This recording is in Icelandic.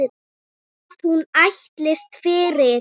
Hvað hún ætlist fyrir.